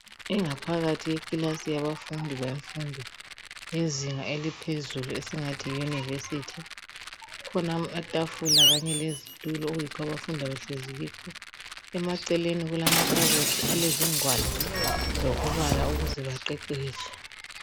Ingaphakathi yekilasi yabafundi bemfundo yezinga eliphezulu esingathi yi yunivesithi, kulamatafula Kanye lezitulo okuyikho abafunda behlezi kuzo, emaceleni kulamakhabothi alezingwalo zokubala ukuze baqeqetshe.